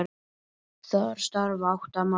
Þar starfa átta manns.